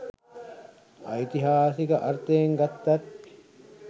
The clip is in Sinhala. ඓතිහාසික අර්ථයෙන් ගත්තත්